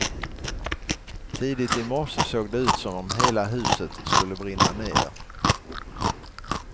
Tidigt i morse såg det ut som om hela huset skulle brinna ner.